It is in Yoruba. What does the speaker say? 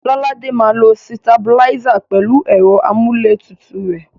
Lọ́ládé máa lo sitabiláísà pẹ̀lú ẹ̀rọ amúlétutù rẹ̀.